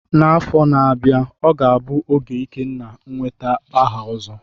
N'afọ na-abịa, ọ ga-abụ oge Ikenna nweta aha Ozo.